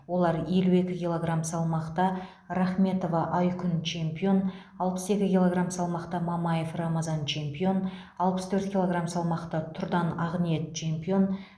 олар елу екі килограмм салмақта рахметова айкүн чемпион алпыс екі килограмм салмақта мамаев рамазан чемпион алпыс төрт килограмм салмақта тұрдан ақниет чемпион